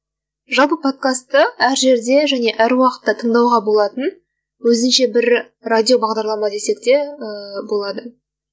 жалпы подкасты әр жерде және әр уақытта тыңдауға болатын өзінше бір радио бағдарлама десек те ііі болады